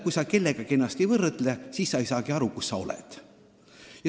Kui sa kellegagi ennast ei võrdle, siis sa ei saagi aru, kus sa oma arengus oled.